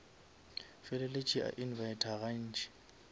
feleletše a invita ga ntši